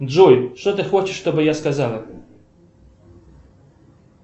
джой что ты хочешь чтобы я сказала